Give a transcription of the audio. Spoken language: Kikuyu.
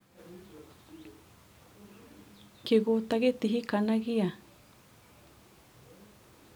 kĩgũta gĩtihikanagĩa?